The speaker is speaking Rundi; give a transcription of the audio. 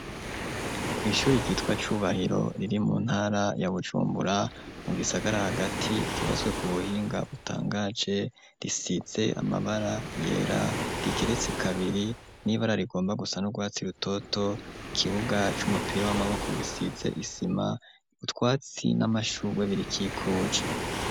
Kw'ishure ryitwa Cubahiro riri mu ntara ya Bujumbura mu gisagara hagati, ryubatswe ku buhinga butangaje, risize amabara yera, rigeretse kabiri, n'ibara rigomba gusa n'urwatsi rutoto, ikibuga c'umupira w'amaboko gisize isima, utwatsi n'amashurwe birikikuje.